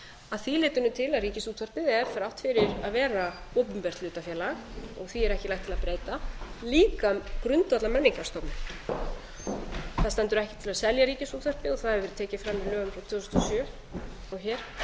að því leytinu til að ríkisútvarpið er þrátt fyrir að vera opinbert hlutafélag og því er ekki lagt til að breyta líka grundvallarmenningarstofnun það stendur ekki til að selja ríkisútvarpið það hefur verið tekið fram í lögum frá tvö þúsund og sjö og hér